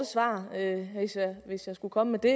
svar hvis jeg skulle komme med det